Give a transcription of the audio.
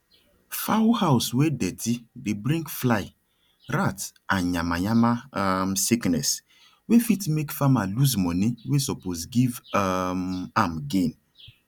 fowl house wey dirty dey bring fly rat and yamayama um sickness wey fit make farmer lose money wey suppose give um am gain